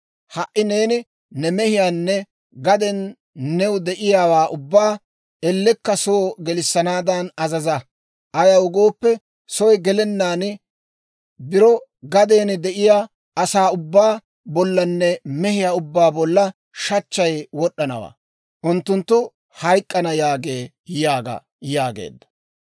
Ha"i neeni ne mehiyaanne gaden new de'iyaawaa ubbaa ellekka soo gelissanaadan azaza; ayaw gooppe, soy gelenaan biro gaden de'iyaa asaa ubbaa bollanne mehiyaa ubbaa bolla shachchay wod'd'anawaa; Unttuttu hayk'k'ana» yaagee› yaaga» yaageedda.